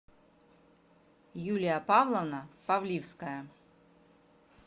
юлия павловна павливская